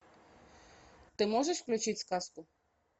ты можешь включить сказку